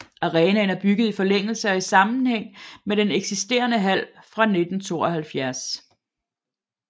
Arenaen er bygget i forlængelse og i sammenhæng med den eksisterende hal fra 1972